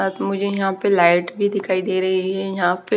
त मुझे यहां पे लाइट भी दिखाई दे रही हैं यहां पे--